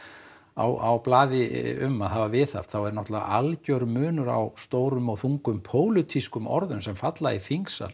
á blaði um að hafa viðhaft þá er náttúrulega algjör munur á stórum og þungum pólitískum orðum sem falla í þingsal